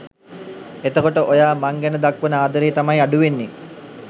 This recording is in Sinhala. එතකොට ඔයා මං ගැන දක්වන ආදරේ තමයි අඩුවෙන්නේ